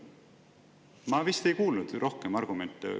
Ma vist ei kuulnud rohkem argumente.